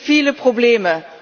Es gibt viele Probleme.